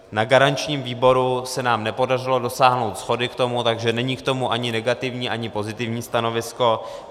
Na garančním výboru se nám nepodařilo dosáhnout shody k tomu, takže není k tomu ani negativní, ani pozitivní stanovisko.